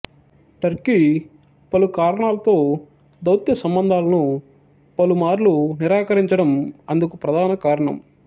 Turkey పలుకారణాలతో దౌత్యసంబంధాలను పలుమార్లు నిరాకరించడం అందుకు ప్రధాన కారణం